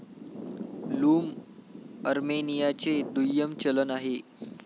Loom अर्मेनियाचे दुय्यम चलन आहे.